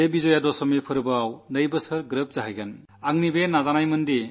ഈ വിജയദശമിനാളിൽ രണ്ടു വർഷം പൂർത്തിയാകും